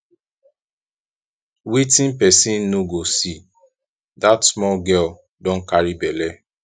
wetin person no go see dat small girl don carry bele